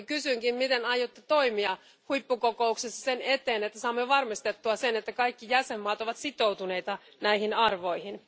Kysynkin, miten aiotte toimia huippukokouksessa sen eteen, että saamme varmistettua sen, että kaikki jäsenvaltiot ovat sitoutuneita näihin arvoihin.